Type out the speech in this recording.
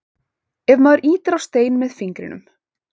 ef maður ýtir á stein með fingrinum